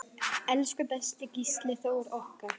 Elsku besti Gísli Þór okkar.